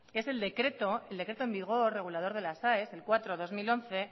que es el decreto en vigor regulador de las aes el cuatro barra dos mil once